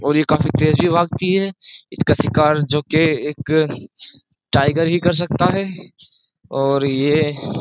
और यह काफी तेज भी भागती है। इसका शिकार जो कि एक टाइगर ही कर सकता है और ये --